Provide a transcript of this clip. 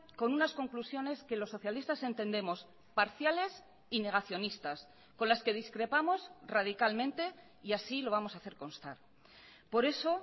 con unas conclusiones que los socialistas entendemos parciales y negacionistas con las que discrepamos radicalmente y así lo vamos a hacer constar por eso